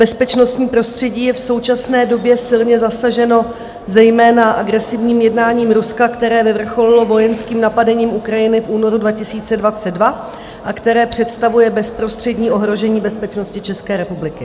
Bezpečnostní prostředí je v současné době silně zasaženo zejména agresivním jednáním Ruska, které vyvrcholilo vojenským napadením Ukrajiny v únoru 2022 a které představuje bezprostřední ohrožení bezpečnosti České republiky.